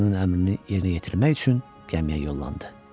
Ağasının əmrini yerinə yetirmək üçün gəmiyə yollandı.